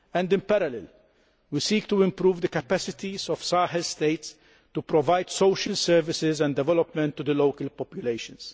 In parallel, we are seeking to improve the capacities of Sahel states to provide social services and development to the local populations.